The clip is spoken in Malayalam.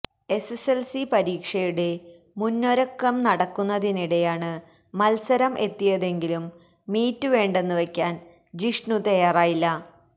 എസ്എസ്എല്സി പരീക്ഷയുടെ മുന്നൊരുക്കം നടക്കുന്നതിനിടെയാണ് മത്സരം എത്തിയതെങ്കിലും മീറ്റ് വേണ്ടെന്ന് വെക്കാന് ജിഷ്ണു തയ്യാറായില്ല